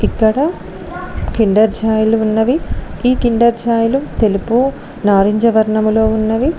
ఇక్కడ కిండర్ జాయ్లు ఉన్నవి ఈ కిండర్ జాయ్ లు తెలుపు నారింజ వర్ణంలో ఉన్నవి.